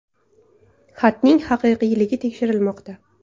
Xatning haqiqiyligi tekshirilmoqda.